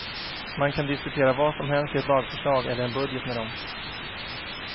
Man kan diskutera vad som helst i ett lagförslag eller en budget med dem.